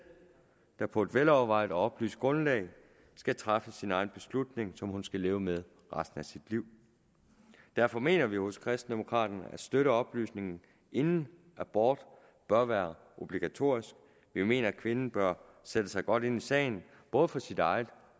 der på et velovervejet og oplyst grundlag skal træffe sin egen beslutning som hun skal leve med resten af sit liv derfor mener vi jo hos kristendemokraterne at støtteoplysningen inden abort bør være obligatorisk vi mener at kvinden bør sætte sig godt ind i sagen både for sin egen